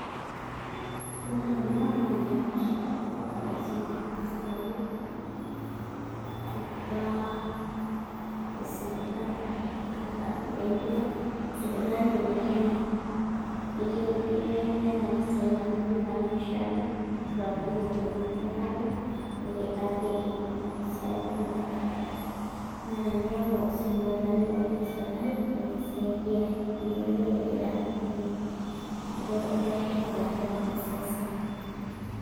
Yiolo ena naa membership enkaldasi nirijistayie imbaa e sipitali orkirrari tenilo sipitali nikihundumiai miata mpisai amu indipa naa aishoo ena nitodolu nkolong' i nitalaa nekibakieki nena pisai inonok naa teniya sipitali pookin esirkali nekisaidiai amu eyioloi ajo ira nabo enye amu itotona ilakita NSSF.